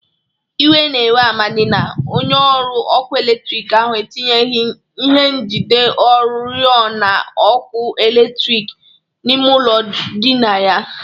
Iwe na-ewe Amadị na onyeọrụ ọkụ eletriki ahụ etinyeghi ihe njide ọrịọna ọkụ eletriki n'ime ụlọ ndịna ya.